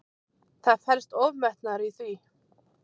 Það felst ofmetnaður í því.